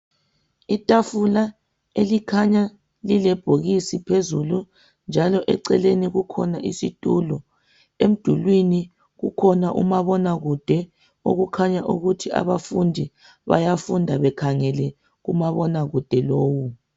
Itafula elikhanya lilebhokisi phezulu, njalo eceleni kukhona isitulo. Emdulwini kukhona umabaonakude okukhanya ukuthi abafundi bayafunda bekhangela kumabonakude lowu.